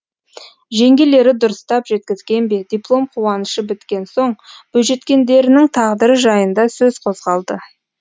жеңгелері дұрыстап жеткізген бе диплом қуанышы біткен соң бойжеткендерінің тағдыры жайында сөз қозғалды